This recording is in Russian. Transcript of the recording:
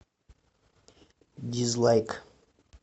дизлайк